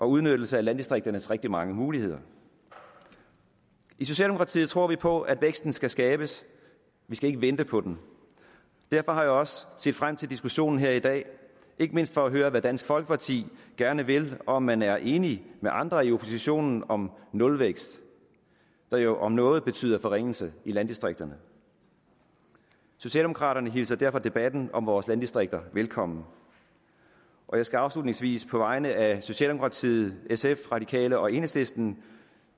udnyttelse af landdistrikternes rigtig mange muligheder i socialdemokratiet tror vi på at væksten skal skabes vi skal ikke vente på den derfor har jeg også set frem til diskussionen her i dag ikke mindst for at høre hvad dansk folkeparti gerne vil og om man er enig med andre i oppositionen om nulvækst der jo om noget betyder forringelse i landdistrikterne socialdemokraterne hilser derfor debatten om vores landdistrikter velkommen jeg skal afslutningsvis på vegne af socialdemokratiet sf radikale og enhedslisten